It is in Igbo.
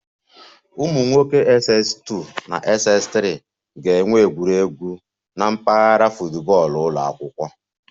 Ụmụ nwoke Ss2 na Ss3 ga-enwe egwuregwu na mpaghara football ụlọ akwụkwọ